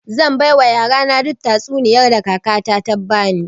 Zai baiwa yarana duk tatsuniyar da kakata ta bani